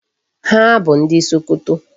Ha bụ ndị Sokoto.